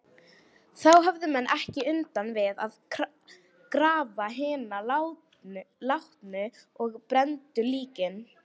Þá höfðu menn ekki undan við að grafa hina látnu og brenndu líkin.